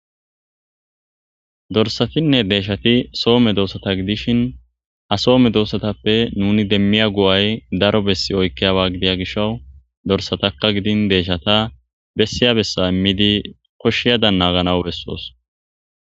Dorsatinne deyshati so medosata gidishn ha so medosatappe nun demiya go'ay daro besi oykiyaba gidya gishaw dorsataka gidin deyshata besiya besa imidi koshiyagadan nagaana besosi.